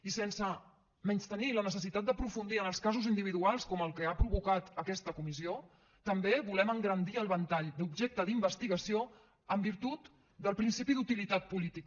i sense menystenir la necessitat d’aprofundir en els casos individuals com el que ha provocat aquesta comissió també volem engrandir el ventall d’objecte d’investigació en virtut del principi d’utilitat política